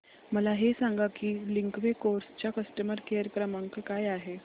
मला हे सांग की लिंकवे कार्स चा कस्टमर केअर क्रमांक काय आहे